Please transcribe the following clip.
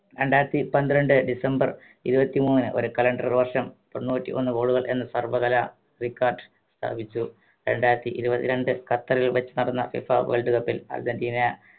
രണ്ടായിരത്തി പന്ത്രണ്ട് ഡിസംബർ ഇരുപത്തിമൂന്ന് ഒരു calender വർഷം തൊണ്ണൂറ്റിയൊന്ന് goal കൾ എന്ന സർവ്വകലാ record സ്ഥാപിച്ചു രണ്ടായിരത്തി ഇരുപത്രണ്ട് ഖത്തറിൽ വെച്ച് നടന്ന FIFA world cup ൽ അർജന്റീന